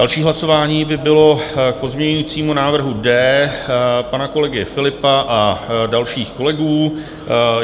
Další hlasování by bylo k pozměňujícímu návrhu D pana kolegy Philippa a dalších kolegů.